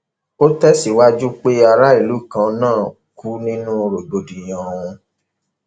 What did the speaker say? ó tẹsíwájú pé aráàlú kan náà kú nínú rògbòdìyàn ọhún